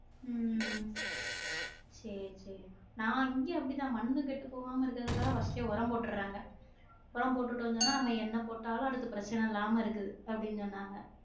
உம் சேரி சேரி நா இங்க அப்படி தான் மண்ணு கெட்டு போகாம இருக்குறதுக்காக first ஏ ஒரம் போட்றாங்க ஒரம் போட்டுடோம் சொன்னா நம்ம என்ன போட்டாலும் அடுத்து பிரச்னை இல்லாம இருக்குது அப்படி சொன்னாங்க